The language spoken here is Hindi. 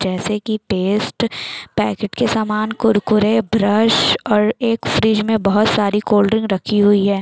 जैसे की पेस्ट पैकेट के समान कुरकुरे ब्रश और एक फ्रिज में बहुत सारी कोल्ड ड्रिंक रखी हुई है।